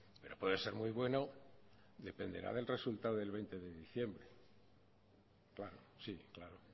pero puede ser muy bueno dependerá del resultado del veinte de diciembre claro sí claro